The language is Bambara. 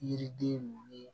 Yiriden mun ni